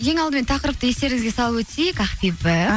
ең алдымен тақырыпты естеріңізге салып өтейік ақбибі